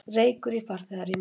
Reykur í farþegarými